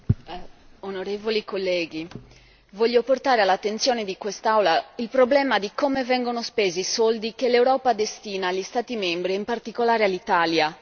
Signor Presidente, onorevoli colleghi, voglio portare all'attenzione di quest'Aula il problema di come vengono spesi i soldi che l'Europa destina agli Stati membri e in particolare all'Italia.